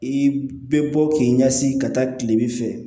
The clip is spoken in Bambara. I bɛ bɔ k'i ɲɛsin ka taa kilebi fɛ